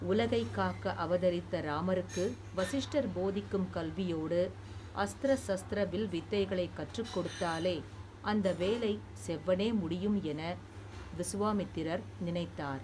உலகைக் காக்க அவதரித்த இராமருக்கு வசிஷ்டர் போதிக்கும் கல்வியோடு அஸ்திரசஸ்திர வில்வித்தைகளைக் கற்றுக் கொடுத்தாலே அந்த வேலை செவ்வனே முடியும் என விசுவாமித்திரர் நினைத்தார்.